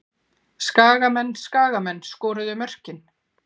Skagamenn Skagamenn skoruðu mörkin.